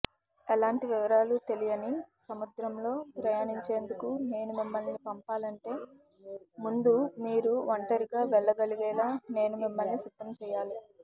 ఎలాంటి వివరాలు తెలియని సముద్రంలో ప్రయాణించేందుకు నేను మిమ్మల్ని పంపాలంటే ముందు మీరు ఒంటరిగా వెళ్ళగలిగేలా నేను మిమ్మల్ని సిద్ధంచెయ్యాలి